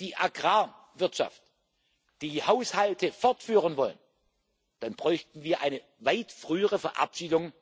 die Agrarwirtschaft die Haushalte fortfahren wollen, dann bräuchten wir eine weit frühere Verabschiedung